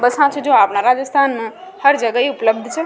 Bus छ जो आपन राजस्थान में हर जगह ही उपलब्ध छ।